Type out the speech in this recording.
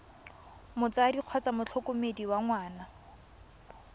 motsadi kgotsa motlhokomedi wa ngwana